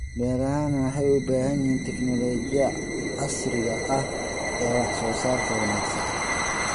Beerahani waxay u baahan yihiin tignoolajiyada casriga ah ee wax soo saarka wanaagsan.